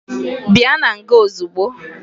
Bịa na nga ozugbo!